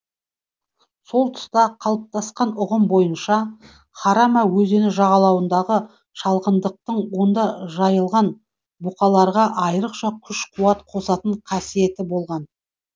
сол тұста қалыптасқан ұғым бойынша харама өзені жағалауындағы шалғындықтың онда жайылған бұқаларға айрықша күш қуат қосатын қасиеті болған